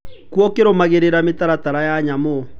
Kua ũkirũmagĩrĩra mĩtaratara ya nyamũ